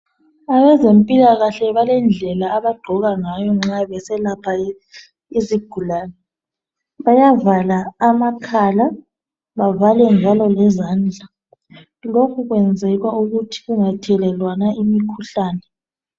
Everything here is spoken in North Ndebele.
Abezempilakahle balendlela abagqoka ngayo nxa beselapha izigulane bayavala amakhala bavale njalo lezandla. Lokhu kwenzelwa ukuthi kungathelelwana imikhuhlane.